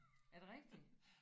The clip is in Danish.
Er det rigtigt?